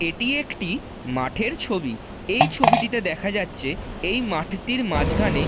এটি একটি মাঠের ছবি। এই ছবিটিতে দেখা যাচ্ছে এই মাঠটির মাঠটির মাঝখানে--